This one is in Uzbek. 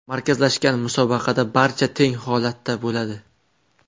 Markazlashgan musobaqada barcha teng holatda bo‘ladi.